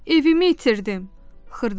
Evimi itirdim,